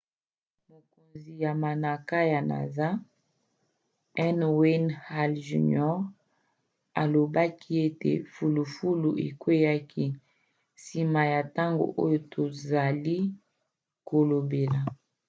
mokonzi ya manaka ya nasa n. wayne hale jr. alobaki ete fulufulu ekweaki nsima ya ntango oyo tozali kolobela.